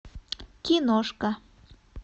киношка